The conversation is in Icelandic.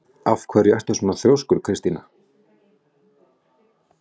Af hverju ertu svona þrjóskur, Kristína?